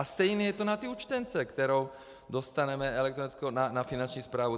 A stejně je to na té účtence, kterou dostaneme elektronickou na Finanční správu.